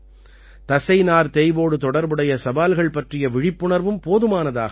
தசைநார் தேய்வோடு தொடர்புடைய சவால்கள் பற்றிய விழிப்புணர்வும் போதுமானதாக இல்லை